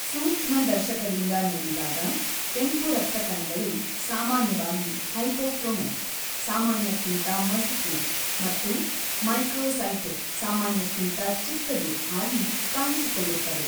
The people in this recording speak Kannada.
ಸೂಕ್ಷ್ಮದರ್ಶಕದಿಂದ ನೋಡಿದಾಗ ಕೆಂಪು ರಕ್ತ ಕಣಗಳು ಸಾಮಾನ್ಯವಾಗಿ ಹೈಪೋಕ್ರೊಮಿಕ್ (ಸಾಮಾನ್ಯಕ್ಕಿಂತ ಮಸುಕು) ಮತ್ತು ಮೈಕ್ರೋಸೈಟಿಕ್ (ಸಾಮಾನ್ಯಕ್ಕಿಂತ ಚಿಕ್ಕದು) ಆಗಿ ಕಾಣಿಸಿಕೊಳ್ಳುತ್ತವೆ.